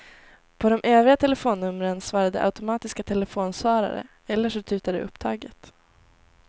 På de övriga telefonnumren svarade automatiska telefonsvarare eller så tutade det upptaget.